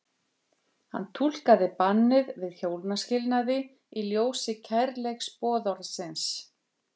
Hann túlkaði bannið við hjónaskilnaði í ljósi kærleiksboðorðsins.